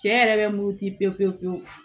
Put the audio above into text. Cɛ yɛrɛ bɛ muruti pewu pewu pewu